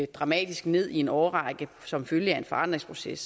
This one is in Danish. dramatisk ned i en årrække som følge af en forandringsproces